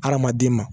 Hadamaden ma